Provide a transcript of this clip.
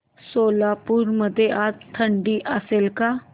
सोलापूर मध्ये आज थंडी असेल का